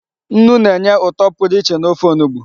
Nnu na-enye ụtọ pụrụ iche n'ofe onugbu.